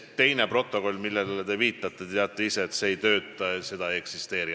Teine protokoll, millele te viitate – te teate isegi, et see ei toimi ja seda ei eksisteeri.